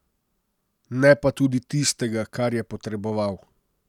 Ne pa tudi tistega, kar je potreboval.